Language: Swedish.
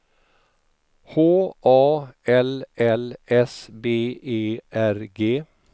H A L L S B E R G